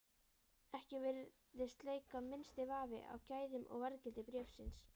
Ekki virðist leika minnsti vafi á gæðum og verðgildi bréfsins.